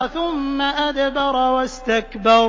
ثُمَّ أَدْبَرَ وَاسْتَكْبَرَ